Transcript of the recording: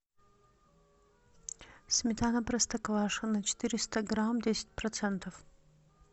сметана простоквашино четыреста грамм десять процентов